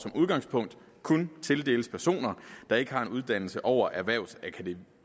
som udgangspunkt kun tildeles personer der ikke har en uddannelse over erhvervsakademiniveau